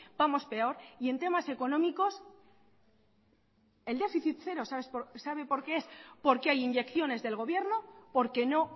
vamos peor y en temas económicos el déficit cero sabe por qué es porque hay inyecciones del gobierno porque no